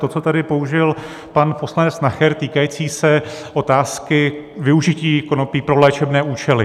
To, co tady použil pan poslanec Nacher, týkající se otázky využití konopí pro léčebné účely.